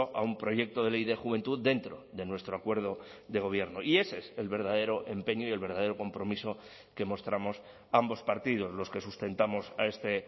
a un proyecto de ley de juventud dentro de nuestro acuerdo de gobierno y ese es el verdadero empeño y el verdadero compromiso que mostramos ambos partidos los que sustentamos a este